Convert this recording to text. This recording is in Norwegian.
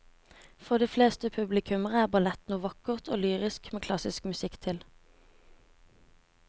For de fleste publikummere er ballett noe vakkert og lyrisk med klassisk musikk til.